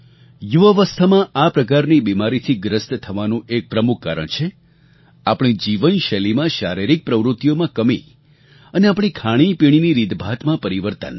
યુવાવસ્થામાં આ પ્રકારની બીમારીથી ગ્રસ્ત થવાનું એક પ્રમુખ કારણ છે આપણી જીવનશૈલીમાં શારીરિક પ્રવૃત્તિઓમાં ખામી અને આપણી ખાણીપીણીની રીતભાતમાં પરિવર્તન